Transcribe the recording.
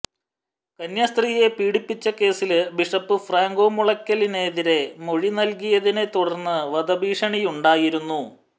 കന്യാസ്ത്രീയെ പീഡിപ്പിച്ച കേസില് ബിഷപ്പ് ഫ്രാങ്കോ മുളയ്ക്കലിനെതിരെ മൊഴി നല്കിയതിനെ തുടര്ന്ന് വധഭീഷണിയുണ്ടായിരുന്നു